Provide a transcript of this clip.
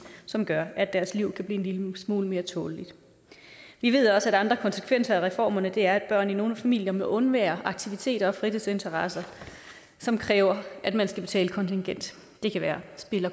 som gør at deres liv kan blive en lille smule mere tåleligt vi ved også at andre konsekvenser af reformerne er at børn i nogle familier må undvære aktiviteter og fritidsinteresser som kræver at man skal betale kontingent det kan være at spille